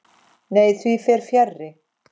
Nei, því fer fjarri.